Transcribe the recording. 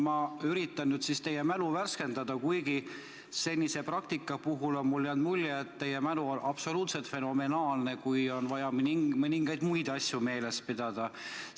Ma üritan teie mälu värskendada, kuigi senise praktika jooksul on mulle jäänud mulje, et teie mälu on absoluutselt fenomenaalne, kui on vaja mõningaid muid asju meeles pidada.